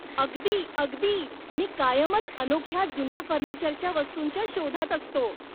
अगदी अगदी! मी कायमच अनोख्या जुन्या फर्निचरच्या वस्तूंच्या शोधात असतो.